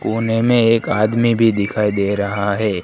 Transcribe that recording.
कोने में एक आदमी भी दिखाई दे रहा है।